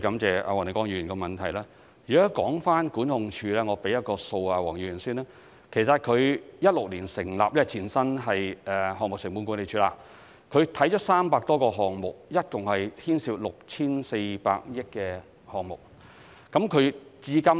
就有關的管控部門，我先向黃議員提供一個數字：該管控部門在2016年成立，前身是項目成本管理辦事處，曾審視300多個項目，共牽涉 6,400 億元工程費用。